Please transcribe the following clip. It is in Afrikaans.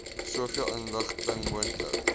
soveel inligting moontlik